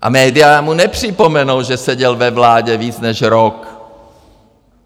A média mu nepřipomenou, že seděl ve vládě víc než rok.